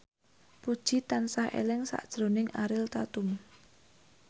Puji tansah eling sakjroning Ariel Tatum